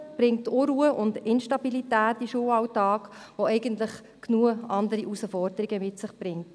Sie bringt Unruhe und Instabilität in den Schulalltag, der eigentlich genug andere Herausforderungen mit sich bringt.